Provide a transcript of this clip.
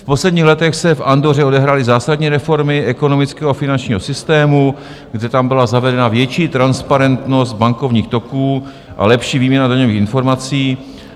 V posledních letech se v Andoře odehrály zásadní reformy ekonomického a finančního systému, kde tam byla zavedena větší transparentnost bankovních toků a lepší výměna daňových informací...